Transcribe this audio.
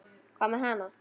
Hvað með hana?